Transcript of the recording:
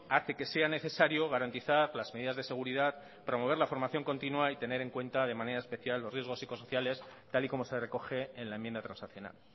hace que sea necesario garantizar las medidas de seguridad promover la formación continua y tener en cuenta de manera especial los riesgos psicosociales tal y como se recoge en la enmienda transaccional